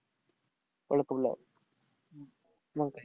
मंग काय.